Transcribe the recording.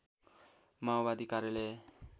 माओवादी कार्यालय